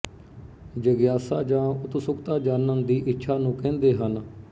ਜਗਿਆਸਾ ਜਾਂ ਉਤਸੁਕਤਾ ਜਾਣਨ ਦੀ ਇੱਛਾ ਨੂੰ ਕਹਿੰਦੇ ਹਨ